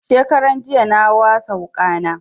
Shekaran jiya na wasa wuƙa na